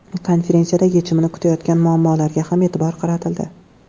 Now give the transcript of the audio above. Konferensiyada yechimini kutayotgan muammolarga ham e’tibor qaratildi.